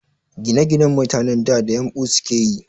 Ginaginan mutanen da, da yumɓu sukeyi